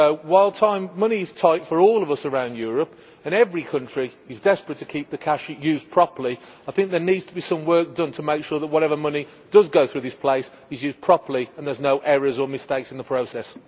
While money is tight for all of us around Europe and every country is desperate to ensure the cash is used properly, I think there needs to be some work done to make sure that whatever money does go through this place is used properly and there are no errors or mistakes in the process.